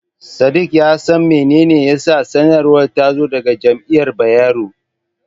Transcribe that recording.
Sadik ya san mene ne yasa sanarwar ta zo daga Jami'ar Bayero.